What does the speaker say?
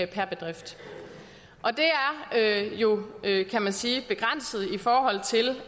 per bedrift det er jo kan man sige begrænset i forhold til